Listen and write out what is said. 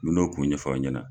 Me n'u kun ɲɛfɔ aw ɲɛna.